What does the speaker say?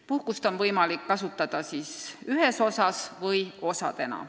Puhkust on võimalik kasutada ühes osas või osadena.